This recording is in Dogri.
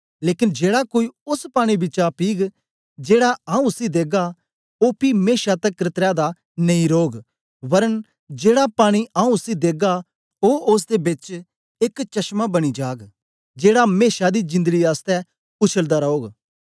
लेकन जेड़ा कोई ओस पानी बिचा पीग जेड़ा आऊँ उसी देगा ओ पी मेशा तकर त्रै दा नेई रौग वरन जेड़ा पानी आऊँ उसी देगा ओ ओसदे बिच एक चश्मां बनी जाग जेड़ा मेशा दी जिंदड़ी आसतै उछलदा रौग